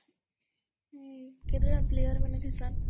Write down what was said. ହଁ କେତେଟା ପ୍ଲେୟାର୍ ହେସନ୍?